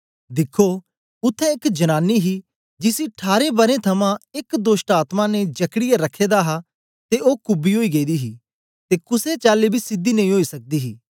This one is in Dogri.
दिख्खो उत्थें एक जनानी ही जिसी ठारें बरें थमां एक दोष्टआत्मा ने जकड़ीयै रखे दा हा ते ओ कुबी ओई गेदी ही ते कुसे चाली बी सीधी नेई ओई सकदी ही